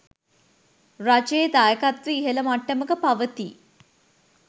රජයේ දායකත්වය ඉහළ මට්ටමක පවතියි